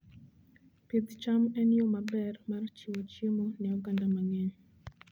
Pidh cham en yo maber mar chiwo chiemo ne oganda mang'eny.